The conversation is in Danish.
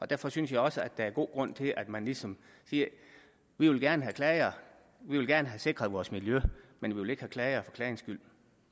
derfor synes jeg også at der er god grund til at man ligesom siger vi vil gerne have klager vi vil gerne have sikret vores miljø men vi vil ikke have klager for klagernes skyld